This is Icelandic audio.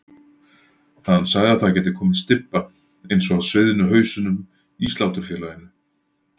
Hann sagði að það gæti komið stybba eins og af sviðnu hausunum í Sláturfélaginu.